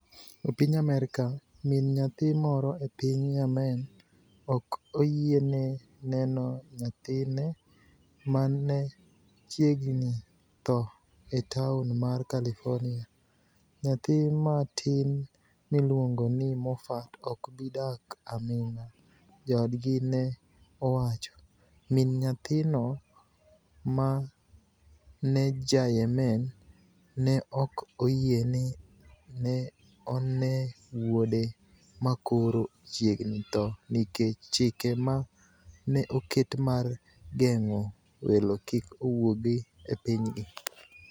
E piniy Amerka, mini niyathi moro e piniy Yemeni ok oyieni e ni eno niyathini e ma ni e chiegnii tho e taoni mar Californiia. niyathi matini miluonigo nii Mofat ok bi dak aminig'a, joodgi ni e owacho. Mini niyathino, ma eni Ja Yemeni, ni e ok oyieni e ni eno wuode ma koro chiegnii tho niikech chike ma ni e oket mar genig'o welo kik owuog e piniygi.